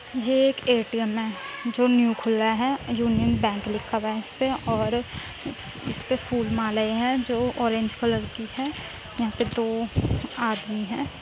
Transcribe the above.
ये एक ए.टी.एम. है जो न्यू खुला है। यूनियन बैंक लिखा हुआ है इसपे और इसपे फूल मालाएं है जो ओरेंज कलर की है। यहाँ पे